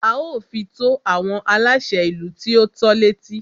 A ó fi tó àwọn aláṣẹ ìlú tí o tọ́ l'étí.